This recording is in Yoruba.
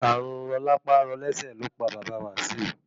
Ààrùn rọlápá-rọlẹ́sẹ̀ lópa bàbá Wasiu.